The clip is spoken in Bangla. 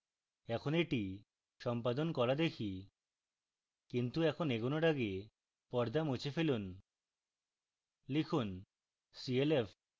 এখন এটি সম্পাদন করা দেখি কিন্তু এখন এগোনোর আগে পর্দা মুছে ফেলুন